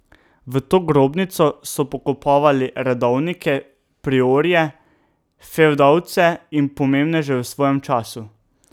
V to grobnico so pokopavali redovnike, priorje, fevdalce in pomembneže v svojem času.